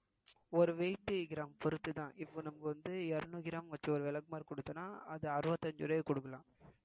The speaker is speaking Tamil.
ஒரு gram பொருத்துதான் இப்ப நம்ம வந்து இருநூறு gram வச்சு ஒரு விளக்குமாறு கொடுத்தோம்ன்னா அது அறுபத்தி அஞ்சு ரூபாய்க்கு கொடுக்கலாம்